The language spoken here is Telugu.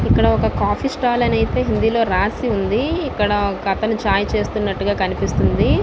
ఇక్కడ కాఫీ స్టాల్ అని హిందీ లొ రాసి ఉంది ఇక్కడ ఒక అతను చాయ్ చేస్తున్నటు గా కనిపిస్తుంది ఉంది.